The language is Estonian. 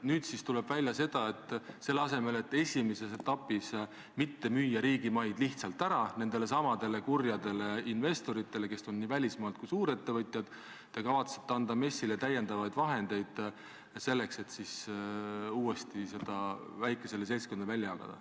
Nüüd siis tuleb välja, et selle asemel, et esimeses etapis mitte müüa riigimaid lihtsalt ära nendelesamadele kurjadele investoritele, kes on nii välismaalt kui suurettevõtjad, te kavatsete anda MES-ile täiendavaid vahendeid selleks, et siis uuesti neid väikesele seltskonnale välja jagada.